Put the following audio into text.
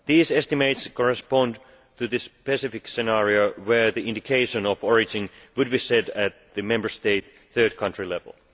These estimates correspond to the specific scenario where the indication of origin would be set at the Member State third country level.